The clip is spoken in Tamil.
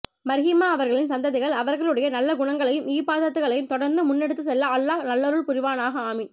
மர்ஹூமா அவர்களின் சந்ததிகள் அவர்களுடைய நல்ல குணங்களையும் இபாதத்துகளையும் தொடர்ந்து முன்னெடுத்து செல்ல அல்லாஹ் நல்லருள் புரிவானாக ஆமீன்